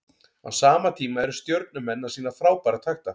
Á sama tíma eru Stjörnumenn að sýna frábæra takta.